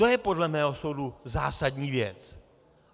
To je podle mého soudu zásadní věc.